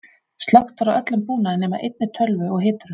Slökkt var á öllum búnaði nema einni tölvu og hiturum.